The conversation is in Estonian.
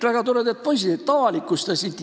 Väga toredad poisid, et avalikustasid.